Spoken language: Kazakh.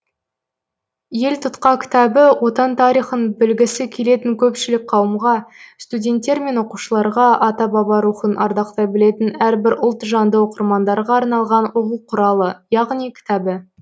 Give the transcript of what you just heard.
елтұтқа кітабы отан тарихын білгісі келетін көпшілік қауымға студенттер мен оқушыларға ата баба рухын ардақтай білетін әрбір ұлт жанды оқырмандарға арналған оқу құралы яғни кітабы